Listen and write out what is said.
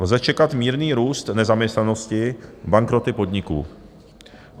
Lze čekat mírný růst nezaměstnanosti, bankroty podniků.